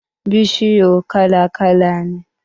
Bishiyu kala-kala ne